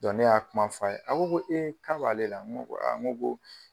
ne y'a kuma fɔ a ye, a ko ko ee k'a b'ale la .